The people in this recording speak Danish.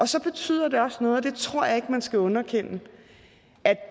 så betyder det også noget og det tror jeg ikke man skal underkende at